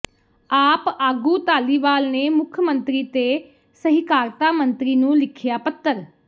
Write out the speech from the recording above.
ਆਪ ਆਗੂ ਧਾਲੀਵਾਲ ਨੇ ਮੁੱਖ ਮੰਤਰੀ ਤੇ ਸਹਿਕਾਰਤਾ ਮੰਤਰੀ ਨੂੰ ਲਿਖਿਆ ਪੱਤਰ